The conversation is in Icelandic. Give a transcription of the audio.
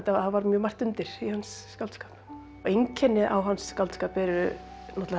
var mjög margt undir í hans skáldskap einkenni á hans skáldskap er náttúrulega